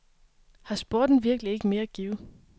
Har sporten virkelig ikke mere at give?